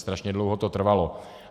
Strašně dlouho to trvalo.